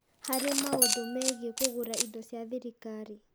Harĩ maũndũ mĩgiĩ kũgũra indo cia thirikari.